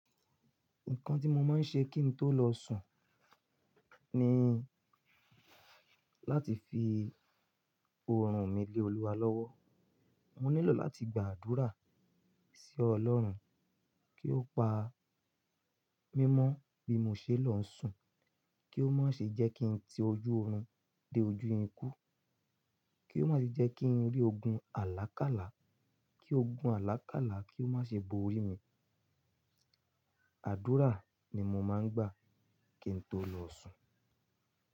Nǹkan tí mo máa ń ṣe kí n tó lọ sùn ni láti fi oorun mi lé Olúwa lọ́wọ́. Mo nílò láti gbàdúrà sí Ọlọ́run kí ó pa mímọ́ bí mo ṣe lọ sùn, kí ó má ṣe jẹ́ kí n ti ojú oorun dé ojú ikú, kí ó má ṣe jẹ́ kí n rí ogun àlákálà, kí ogun àlákálà kí ó má ṣe bo orí mi. Àdúrà ni mo máa ń gbà kí n tó lọ sùn.